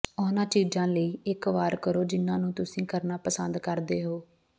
ਉਹਨਾਂ ਚੀਜ਼ਾਂ ਲਈ ਇੱਕ ਵਾਰ ਕਰੋ ਜਿੰਨਾ ਨੂੰ ਤੁਸੀਂ ਕਰਨਾ ਪਸੰਦ ਕਰਦੇ ਹੋ